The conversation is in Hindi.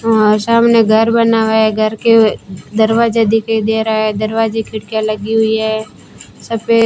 हमारे सामने घर बना हुआ है घर के दरवाजे दिखाई दे रहा है दरवाजे खिड़कीया लगी हुई है सफेद --